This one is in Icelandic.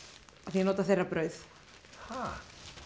ég nota þeirra brauð ha